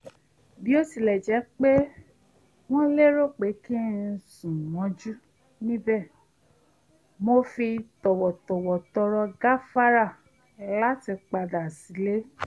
bó tilẹ̀ jẹ́ pé wọ́n lérò pé kí n sùn mọ́jú níbẹ̀ mo fi tọ̀wọ̀tọ̀wọ̀ tọrọ gáfárà láti padà sílé